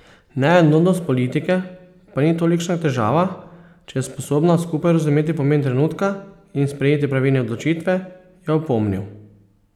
Neenotnost politike pa ni tolikšna težava, če je sposobna skupaj razumeti pomen trenutka in sprejeti pravilne odločitve, je opomnil.